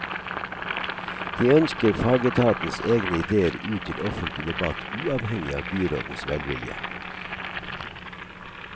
De ønsker fagetatens egne idéer ut til offentlig debatt uavhengig av byrådens velvilje.